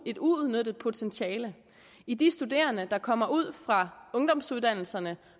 et uudnyttet potentiale i de studerende der kommer ud fra ungdomsuddannelserne